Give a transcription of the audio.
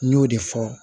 N y'o de fɔ